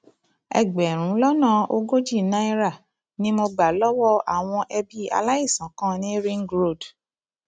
ẹgbẹrún lọnà ogójì náírà ni mo gbà lọwọ àwọn ẹbí aláìsàn kan ní ring road